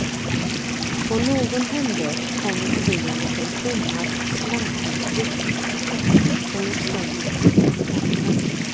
På någon hemväg kom vi förbi en liten tummad och slankig vitsippsbukett, som låg slängd på dikeskanten.